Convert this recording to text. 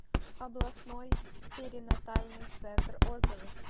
областной перинатальный центр отзывы